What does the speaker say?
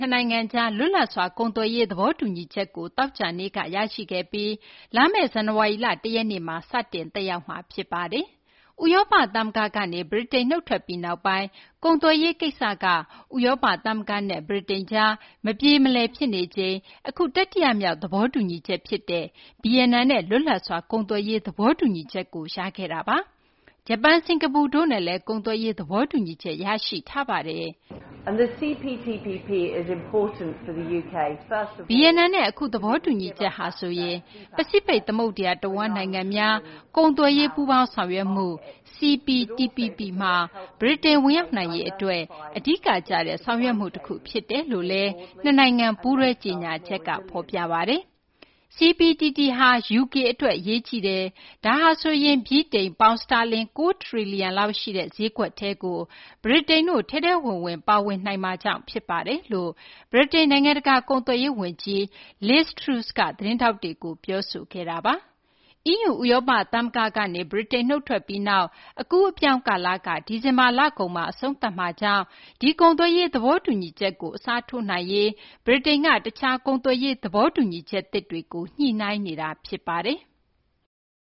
ှစ်နိုင်ငံကြား လွတ်လပ်စွာ ကုန်သွယ်ရေး သဘောတူညီချက်ကို သောကြာနေ့က ရရှိခဲ့ပြီး လာမယ့် ဇန်နဝါရီလ ၁ ရက်နေ့မှာ စတင်သက်ရောက်မှာ ဖြစ်ပါတယ်။ ဥရောပသမဂ္ဂကနေ ဗြိတိန် နုတ်ထွက်ပြီးနောက်ပိုင်း ကုန်သွယ်ရေးကိစ္စက ဥရောပသမဂ္ဂနဲ့ ဗြိတိန်ကြား မပြေမလည် ဖြစ်နေချိန်မှာ အခု တတိယမြောက် သဘောတူညီချက်ဖြစ်တဲ့ ဗီယက်နမ်နဲ့ လွတ်လပ်စွာ ကုန်သွယ်ရေး သဘောတူညီချက် ရတာပါ။ ဂျပန်၊ စင်ကာပူတို့နဲ့လည်း ကုန်သွယ်ရေး သဘောတူညီချက် ရရှိထားပြီး ဖြစ်ပါတယ်။ ဗီယက်နမ်နဲ့ အခု သဘောတူညီချက်ဟာဆိုရင် ပစိဖိတ်သမုဒ္ဒရာတဝန်း နိုင်ငံများ ကုန်သွယ်ရေး ပူးပေါင်းဆောင်ရွက်မှု CPTPP မှာ ဗြိတိန် ဝင်ရောက်နိုင်ရေးအတွက် အဓိကကျတဲ့ ဆောင်ရွက်မှုတခု ဖြစ်တယ်လို့လည်း နှစ်နိုင်ငံ ပူးတွဲ ကြေညာချက်က ဖော်ပြပါတယ်။ “CPTPP ဟာ UK အတွက် အရေးကြီးပါတယ်။ ဒါဟာဆိုရင် ဗြိတိန် ပေါင်စတာလင် ၉ ထရီလီယံလောက်ရှိတဲ့ ဈေးကွက်ထဲကို ဗြိတိန်တို့ ထဲထဲဝင်ဝင် ပါဝင်နိုင်မှာကြောင့် ဖြစ်ပါတယ်” လို့ ဗြိတိန် နိုင်ငံတကာ ကုန်သွယ်ရေးဝန်ကြီး Liz Truss က သတင်းထောက်တွေကို ပြောဆိုခဲ့တာပါ။ EU ဥရောပသမဂ္ဂကနေ ဗြိတိန် နုတ်ထွက်ပြီးနောက် အကူးအပြောင်းကာလက ဒီဇင်ဘာလကုန်မှာ အဆုံးသတ်မှာကြောင့် ဒီကုန်သွယ်ရေးသဘောတူညီမှုကို အစားထိုးနိုင်ရေးအတွက် ဗြိတိန်က တခြား ကုန်သွယ်ရေး သဘောတူညီချက်သစ်တွေကို ညှိနှိုင်းနေတာ ဖြစ်ပါတယ်။